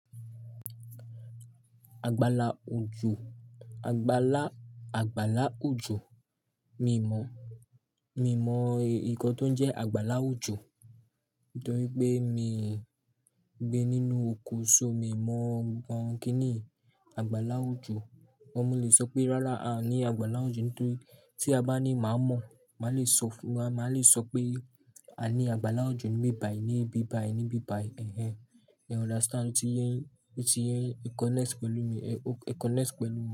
Àgbàlá òjò, àgbàlá, àgbàlá òjò. Mí ò mọ̀, mí ò mọ̀ nǹkan tó ń jẹ́ àgbàlá òjò. Nítorí pé mí ń gbé nínú oko, ṣó mi mọ̀ ǹkan kí ni àgbàlá òjò? Wọn le sọ pé rárá a ní àgbàlá òjò. Nítorí tí a bá ní, màá mọ̀, màá le sọ fun, màá le sọ pé a ní àgbàlá òjò níbí bayi, níbí bayi, níbí bayi. Ehhen. You understand? Ó ti yé ń, ó ti yé ń connect pẹ̀lú mi, e, o connect pẹ̀lú mi.